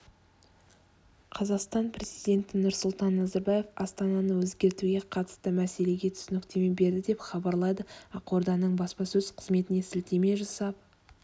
қазақстан президенті нұрсұлтан назарбаев астананы өзгертуге қатысты мәселеге түсініктеме берді деп хабарлайды ақорданың баспасөз-қызметіне сілтеме жасап